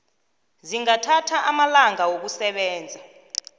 zingathatha amalanga wokusebenza